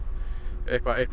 eitthvað eitthvað